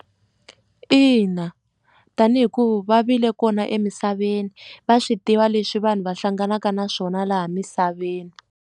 Ina tanihi ku va vile kona emisaveni va swi tiva leswi vanhu va hlanganaka na swona laha misaveni.